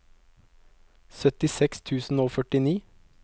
syttiseks tusen og førtini